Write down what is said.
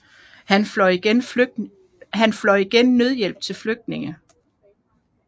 Han fløj igen nødhjælp til flygtninge